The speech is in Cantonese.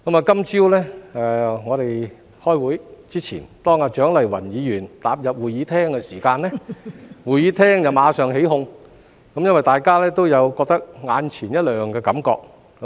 今天早上在我們開會之前，當蔣麗芸議員踏入會議廳時，會議廳內眾人馬上起哄，因為大家都有眼前一亮的感覺。